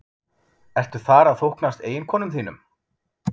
Ertu þar að þóknast eiginkonum þínum?